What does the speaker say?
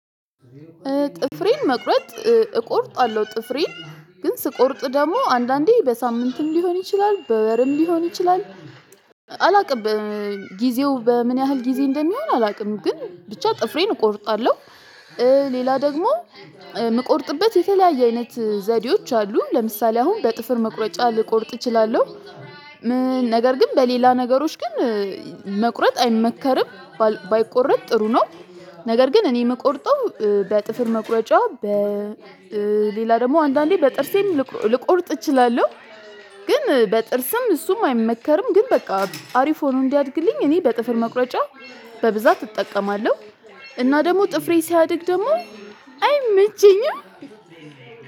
ጥፍሬን መቁረጥ እቆርጣለሁ ጥፍሬን ግን ስቆርጥ ደግሞ አንዳንዴ በሳምንትም ሊሆን ይችላል በወርም ሊሆን ይችላል። አላውቅም ጊዜው በምን ያህል ጊዜ እንደሚሆን አላውቅም? ግን ብቻ ጥፍሬን እቆርጣለሁ። ሌላ ደግሞ የምቆርጥበት የተለያየ አይነት ዘዴዎች አሉ። ለምሳሌ አሁን በጥፍር መቁረጫ ልቆርጥ እችላለሁ። ምን ነገር ግን በሌላ ነገሮች ግን መቁረጥ አይመከርም። ባይቆረጥ ጥሩ ነው። ነገር ግን እኔ የምቆርጠው በጥፍር መቁረጫ በ በሌላ ደግሞ አንዳንዴ በጥርሴም ልቆርጥ እችላለሁ። ግን በጥርስም እሱም አይመከርም። ግን በቃ አሪፍ ሆኖ እንዲያድግልኝ እኔ በጥፍር መቁረጫ በብዛት እጠቀማለሁ። እና ደግሞ ጥፍሬ ሲያድግ ደግሞ አይመቸኝም።